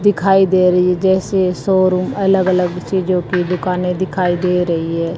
दिखाई दे रही है जैसे शोरूम अलग अलग चीजों की दुकानें दिखाई दे रही है।